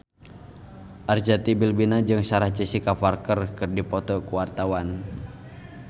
Arzetti Bilbina jeung Sarah Jessica Parker keur dipoto ku wartawan